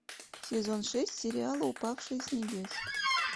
сезон шесть сериала упавшая с небес